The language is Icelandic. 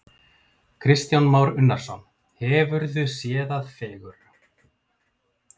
Kristján Már Unnarsson: Hefurðu séð það fegurra?